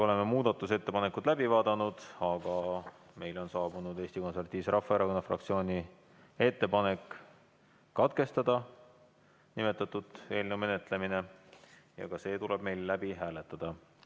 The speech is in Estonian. Oleme muudatusettepanekud läbi vaadanud, aga meile on saabunud Eesti Konservatiivse Rahvaerakonna fraktsiooni ettepanek katkestada eelnõu menetlemine ja ka see tuleb meil läbi hääletada.